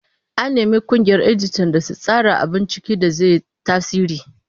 An nemi ƙungiyar editan da su tsara abun ciki da zai yi tasiri.